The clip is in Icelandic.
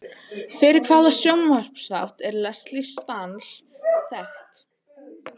Fyrir hvaða sjónvarpsþátt er Lesley Stahl þekkt?